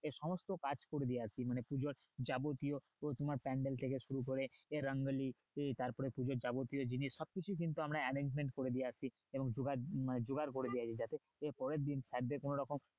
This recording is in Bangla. গিয়ে সমস্ত কাজ করে দিয়ে আসি মানে পুজোর যাবতীয় আহ তোমার প্যাণ্ডেল থেকে শুরু করে দিয়ে রঙ্গোলি আহ তারপরে পুজোর যাবতীয় জিনিস সব কিছুই কিন্তু আমরা arrangement করা দিয়ে আসি এবং জোগাড় মানে জোগাড় করে দিয়ে আসি যাতে পরেই দিন sir এ দের কোন রকম